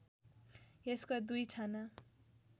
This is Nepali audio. यसका दुई छाना